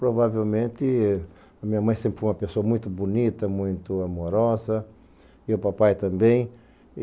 Provavelmente a minha mãe sempre foi uma pessoa muito bonita, muito amorosa, e o papai também.